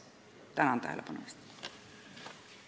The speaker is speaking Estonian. Tänan tähelepanu eest!